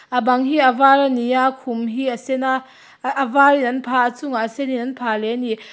a bang hi a var ani a khum hi a sen a ah a var in an phah chungah sen in an phah leh ani.